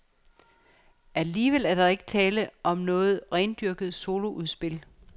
Alligevel er der ikke tale om noget rendyrket soloudspil.